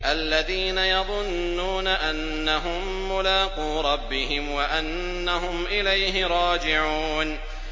الَّذِينَ يَظُنُّونَ أَنَّهُم مُّلَاقُو رَبِّهِمْ وَأَنَّهُمْ إِلَيْهِ رَاجِعُونَ